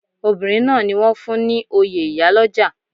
Obinrin náà ni wọ́n fún ní oyè ìyálọ́jà.